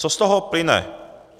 Co z toho plyne?